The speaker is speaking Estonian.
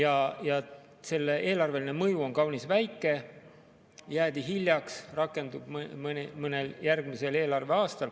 Aga selle eelarveline mõju on kaunis väike, jäädi hiljaks, rakendub mõnel järgmisel eelarveaastal.